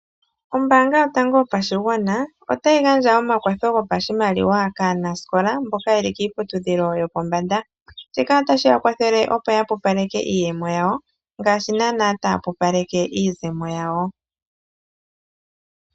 Ombaanga yotango yopashigwaana otayi gandja omakwatho go pashimaliwa kaanasikola mboka yeli kiiputudhilo yopombanda ,shika otashi yakwathele opo yapupaleke iiyemo yawo ngaashi nana ta pupaleke iizemo yawo.